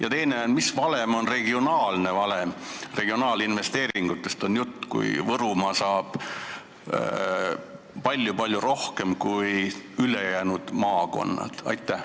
Ja teiseks, kust tuleb see regionaalne valem – jutt on regionaalinvesteeringutest –, mille alusel saab Võrumaa palju-palju rohkem raha kui ülejäänud maakonnad?